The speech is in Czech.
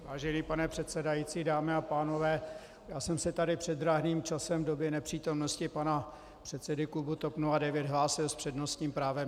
Vážený pane předsedající, dámy a pánové, já jsem se tady před drahným časem v době nepřítomnosti pana předsedy klubu TOP 09 hlásil s přednostním právem.